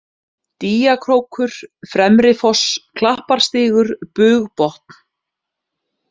Dýjakrókur, Fremrifoss, Klapparstígur, Bugbotn